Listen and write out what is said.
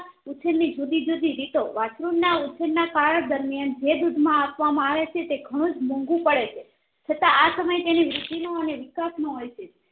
ઉછેરની જુદી જુદી રીતો વાસ્ત્રુ ના કાળ દરમિયાન જે દુધ માં આપવા આવેછે તે ઘણુંજ મોંઘુ પડેછે છતાં આ સમય તેની વૃદ્ધિ નો અને વિકાશ નો હોય છે